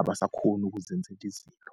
abasakhoni ukuzenzela izinto.